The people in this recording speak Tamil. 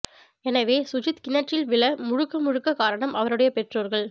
எனவே சுஜித் கிணற்றில் விழ முழுக்க முழுக்க காரணம் அவருடைய பெற்றோர்கள்